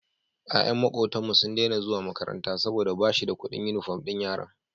Yayan makotan mu sun Daina zuwa makaranta saboda bashida Ƙudin inufom din yaran